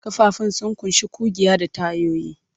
Ƙafafun sun ƙunshi ƙugiya da tayoyi.